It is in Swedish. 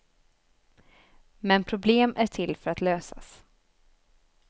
Men problem är till för att lösas.